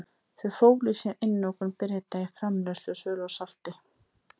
Þau fólu í sér einokun Breta í framleiðslu og sölu á salti.